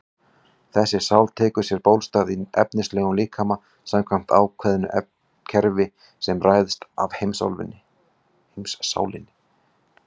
Þessi sál tekur sér bólstað í efnislegum líkama samkvæmt ákveðnu kerfi sem ræðst af heimssálinni.